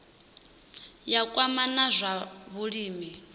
ya kwama na zwa vhulimi